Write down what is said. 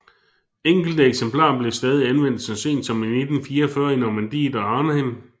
Enkelte eksemplarer blev stadig anvendt så sent som i 1944 i Normandiet og Arnhem